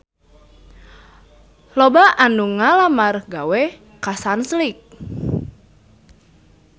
Loba anu ngalamar gawe ka Sunsilk